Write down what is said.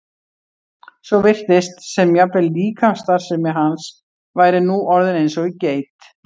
svo virtist sem jafnvel líkamsstarfsemi hans væri nú orðin eins og í geit.